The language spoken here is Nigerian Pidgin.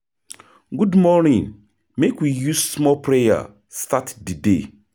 Good morning, make we use small prayer start di day.